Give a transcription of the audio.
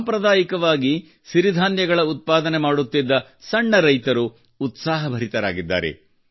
ಸಾಂಪ್ರದಾಯಿಕವಾಗಿ ಸಿರಿಧಾನ್ಯಗಳ ಉತ್ಪಾದನೆ ಮಾಡುತ್ತಿದ್ದ ಸಣ್ಣ ರೈತರು ಉತ್ಸಾಹಭರಿತರಾಗಿದ್ದಾರೆ